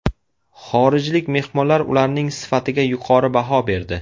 Xorijlik mehmonlar ularning sifatiga yuqori baho berdi.